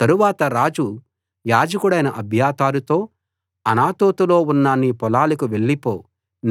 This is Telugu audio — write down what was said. తరువాత రాజు యాజకుడైన అబ్యాతారుతో అనాతోతులో ఉన్న నీ పొలాలకు వెళ్ళిపో